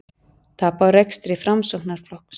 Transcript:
Tap á rekstri Framsóknarflokks